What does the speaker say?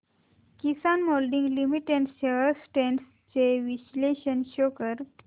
किसान moulding limited shares trends चे विश्लेषण show कर